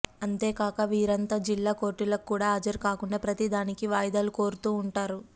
అంతేకాక వీరంతా జిల్లా కోర్టులకు కూడా హాజరు కాకుండా ప్రతి దానికీ వాయిదాలు కోరుతూ వుంటారు